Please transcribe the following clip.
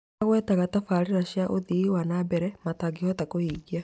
Nĩmagwetaga tabarĩra cia ũthii wa na mbere matangĩhota kũhingia